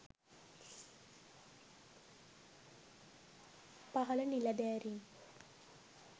පහල නිළැධාරීන්